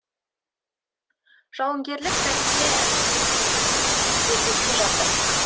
жауынгерлік тәрбие әскери киімде емес жөргекте жатыр